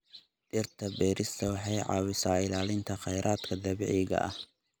Dhirta beerista waxay caawisaa ilaalinta khayraadka dabiiciga ah.